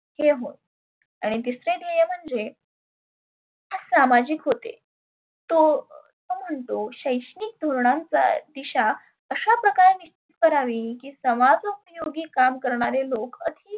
हे होय. आणि तीसरे ध्येय म्हणजे हे सामाजीक होते. तो असं म्हणतो शैक्षणीक धोरणांचा दिशा अशा प्रकारे निष्ठ करावे की समज उपयोगी करणारे लोक